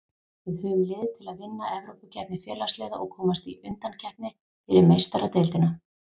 Við höfum lið til að vinna Evrópukeppni Félagsliða og komast í undankeppni fyrir Meistaradeildina.